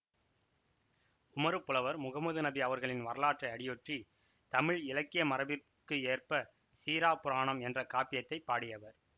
உமறுப் புலவர் முகம்மது நபி அவர்களின் வரலாற்றை அடியொற்றித் தமிழ் இலக்கிய மரபிற்கு ஏற்ப சீறாப் புராணம் என்ற காப்பியத்தைப் பாடியவர்